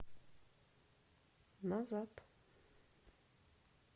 назад